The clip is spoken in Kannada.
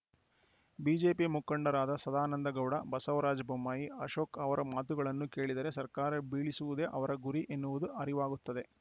ಬಿಜೆಪಿ ಮುಖಂಡರಾದ ಸದಾನಂದಗೌಡ ಬಸವರಾಜ ಬೊಮ್ಮಾಯಿ ಅಶೋಕ್‌ ಅವರ ಮಾತುಗಳನ್ನು ಕೇಳಿದರೆ ಸರ್ಕಾರ ಬೀಳಿಸುವುದೇ ಅವರ ಗುರಿ ಎನ್ನುವುದು ಅರಿವಾಗುತ್ತದೆ